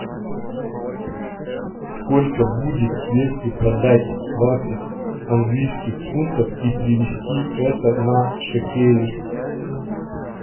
сколько будет если продать двадцать английских фунтов и перевести это на шекели